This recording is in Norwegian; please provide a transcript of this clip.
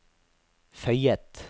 føyet